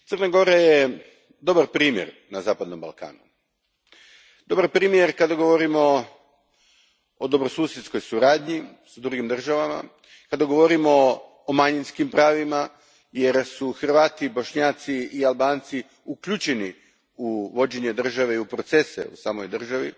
Gospođo predsjednice, Crna Gora je dobar primjer na zapadnom Balkanu. Dobar primjer kada govorimo o dobrosusjedskoj suradnji s drugim državama, kada govorimo o manjinskim pravima jer su Hrvati, Bošnjaci i Albanci uključeni u vođenje države i u procese u samoj državi.